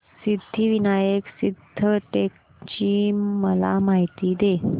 सिद्धिविनायक सिद्धटेक ची मला माहिती दे